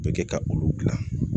Bɛ kɛ ka olu dilan